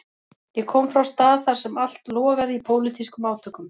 Ég kom frá stað þar sem allt logaði í pólitískum átökum.